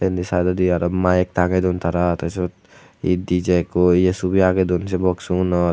inni saaidawdi aro mike tangey doan tara tey siyot he dijey ikko ye subi agey doan say box unot.